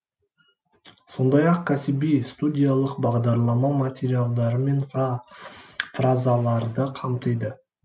сондай ақ кәсіби студиялық бағдарлама материалдары мен фразаларды қамтиды